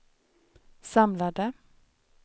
samlade